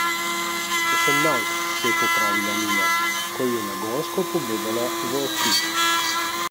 Osemnajst, se je popravila Nina, ko ji je nagonsko pogledala v oči.